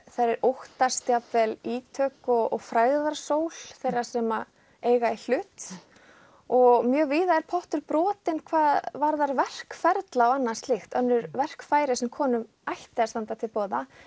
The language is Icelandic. þær óttast jafnvel ítök og frægðarsól þeirra sem eiga í hlut og mjög víða er pottur brotinn hvað varðar verkferla og annað slíkt önnur verkfæri sem konum ætti að standa til boða